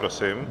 Prosím.